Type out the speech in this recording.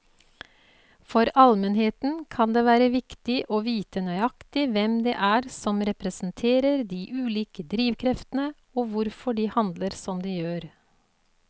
For allmennheten kan det være viktig å vite nøyaktig hvem det er som representerer de ulike drivkreftene og hvorfor de handler som de gjør.